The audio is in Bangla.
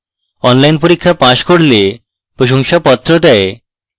online পরীক্ষা pass করলে প্রশংসাপত্র দেয়